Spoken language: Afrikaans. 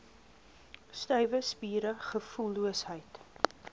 stywe spiere gevoelloosheid